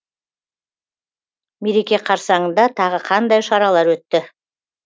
мереке қарсаңында тағы қандай шаралар өтті